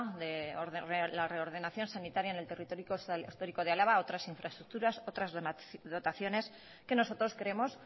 de la reordenación sanitaria en el territorio histórico de álava otras infraestructuras otras dotaciones que nosotros creemos